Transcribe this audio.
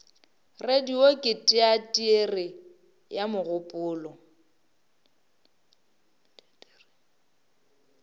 radio ke teatere ya mogopolo